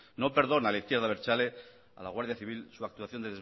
no perdona la izquierda abertzale a la guardia civil su actuación